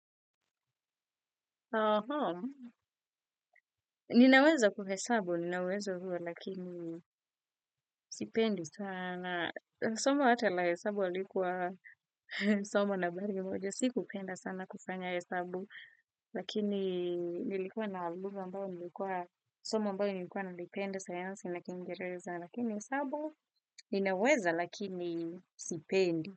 Aha, ninaweza kuhesabu, ninaweza huwa, lakini sipendi sana. Somo hata la hesabu halikuwa, somo na habari moja, sikupenda sana kufanya hesabu, lakini nilikuwa na alubu ambayo nilikuwa, somo mbayo nilikuwa nilipenda sayansi, na kiingereza, lakini hesabu, ninaweza, lakini sipendi.